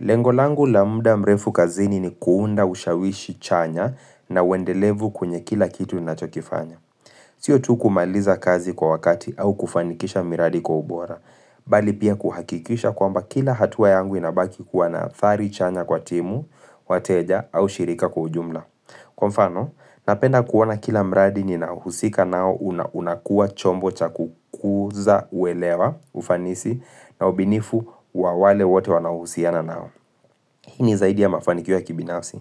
Lengo langu la muda mrefu kazini ni kuunda ushawishi chanya na uendelevu kwenye kila kitu ninachokifanya. Sio tu kumaliza kazi kwa wakati au kufanikisha miradi kwa ubora. Bali pia kuhakikisha kwamba kila hatua yangu inabaki kuwa na athari chanya kwa timu, wateja au shirika kwa ujumla. Kwa mfano, napenda kuona kila mradi ninahusika nao unakua chombo cha kukuza uelewa ufanisi na ubinifu wa wale wote wanaohusiana nao. Hii ni zaidi ya mafanikio ya kibinafsi,